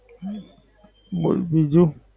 હમ બોલ બીજું.